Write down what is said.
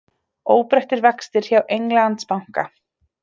Óbreyttir vextir hjá Englandsbanka